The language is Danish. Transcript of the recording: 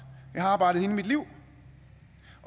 jeg har arbejdet hele mit liv